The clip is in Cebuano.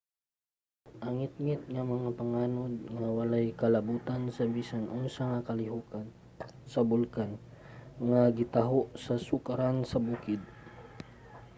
ang ngitngit nga mga panganod nga walay kalabutan sa bisan unsa nga kalihokan sa bulkan ang gitaho sa sukaran sa bukid